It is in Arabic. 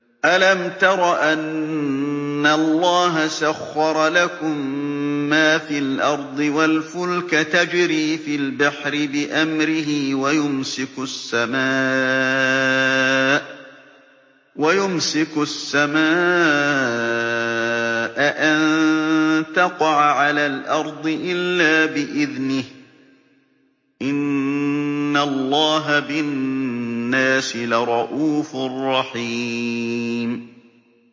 أَلَمْ تَرَ أَنَّ اللَّهَ سَخَّرَ لَكُم مَّا فِي الْأَرْضِ وَالْفُلْكَ تَجْرِي فِي الْبَحْرِ بِأَمْرِهِ وَيُمْسِكُ السَّمَاءَ أَن تَقَعَ عَلَى الْأَرْضِ إِلَّا بِإِذْنِهِ ۗ إِنَّ اللَّهَ بِالنَّاسِ لَرَءُوفٌ رَّحِيمٌ